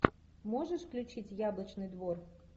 можешь включить яблочный двор